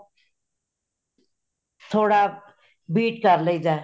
ਥੋੜਾ beat ਕਰ ਲਈ ਦਾ